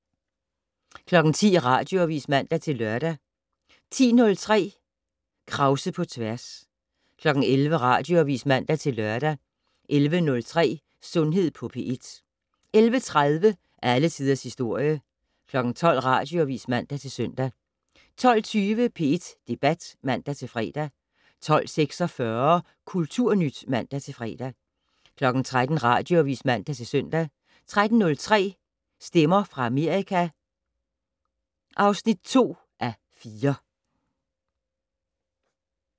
10:00: Radioavis (man-lør) 10:03: Krause på tværs 11:00: Radioavis (man-lør) 11:03: Sundhed på P1 11:30: Alle Tiders Historie 12:00: Radioavis (man-søn) 12:20: P1 Debat (man-fre) 12:46: Kulturnyt (man-fre) 13:00: Radioavis (man-søn) 13:03: Stemmer fra Amerika (2:4)